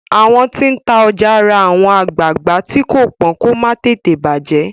àwọn tí n tá ọjà rà àwọn agbagba tii ko pọn kò má tètè bajẹ